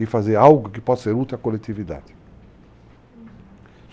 e fazer algo que possa ser útil à coletividade. Uhum.